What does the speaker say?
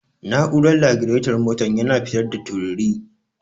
Na'urar lagiraton motar yana fitar da tururi.